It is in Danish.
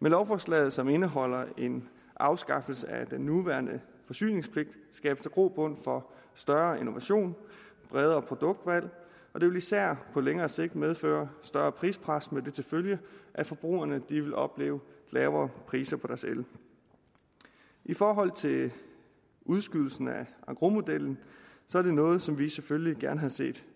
med lovforslaget som indeholder en afskaffelse af den nuværende forsyningspligt skabes der grobund for større innovation og bredere produktvalg og det vil især på længere sigt medføre større prispres med det til følge at forbrugerne vil opleve lavere priser på deres el i forhold til udskydelsen af engrosmodellen er det noget som vi selvfølgelig gerne havde set